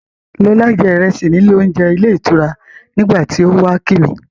Lọlá jẹ ìrẹsì ní ilé-oúnje ilé-ìtura nígbà tí ó wá kí mi.